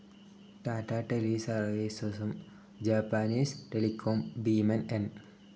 ടാറ്റാ ടെലിസർവീസസും Japanese telecom ഭീമൻ N.